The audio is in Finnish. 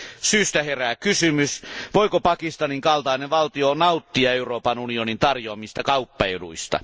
Syystä herää kysymys, voiko Pakistanin kaltainen valtio nauttia Euroopan unionin tarjoamista kauppaeduista?